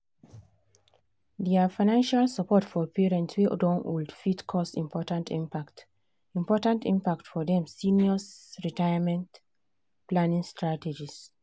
their financial support for parents wey don old fit cause important impact important impact for dem seniors' retirement planning strategies.